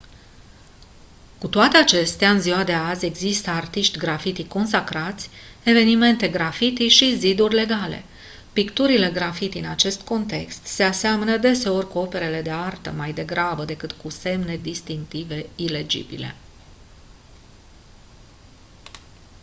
cu toate acestea în ziua de azi există artiști graffiti consacrați evenimente graffiti și «ziduri legale». picturile graffiti în acest context se aseamănă deseori cu operele de artă mai degrabă decât cu semne distinctive ilegibile.